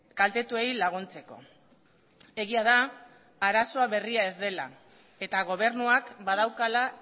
kaltetuei laguntzeko egia da arazoa berria ez dela eta gobernuak badaukala